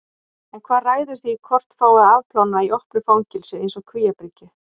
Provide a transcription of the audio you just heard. En hvað ræður því hvort fái að afplána í opnu fangelsi eins og Kvíabryggju?